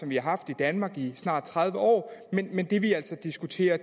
vi har haft i danmark i snart tredive år men det vi altså diskuterer